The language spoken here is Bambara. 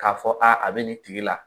K'a fɔ a bɛ nin tigi la